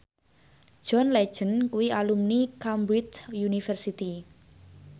John Legend kuwi alumni Cambridge University